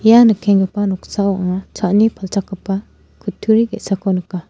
ia nikenggipa noksao anga cha·ani palchakgipa kutturi ge·sako nika.